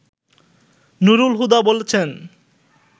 নূরুল হুদা বলছেন